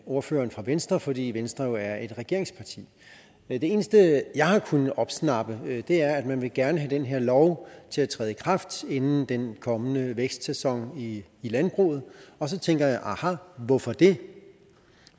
ordføreren fra venstre fordi venstre jo er et regeringsparti det eneste jeg har kunnet opsnappe er at man gerne vil have den her lov til at træde i kraft inden den kommende vækstsæson i landbruget og så tænker jeg aha hvorfor det